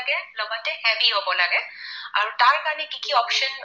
তাৰ কাৰণে কি কি option